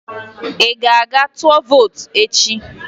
Ị ga-aga tụọ vootu echi?